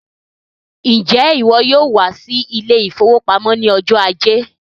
Njẹ iwọ yóò wá sí ile-ìfowópamó ní ọjọ ajé?